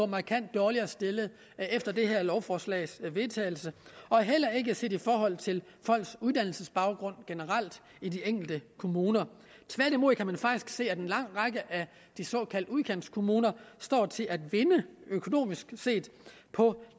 markant dårligere stillet efter det her lovforslags vedtagelse og heller ikke set i forhold til folks uddannelsesbaggrund generelt i de enkelte kommuner tværtimod kan man faktisk se at en lang række af de såkaldte udkantskommuner står til at vinde økonomisk set på